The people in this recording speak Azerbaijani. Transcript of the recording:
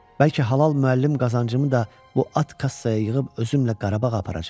Bəlkə halal müəllim qazancımı da bu at kassaya yığıb özümlə Qarabağa aparacam.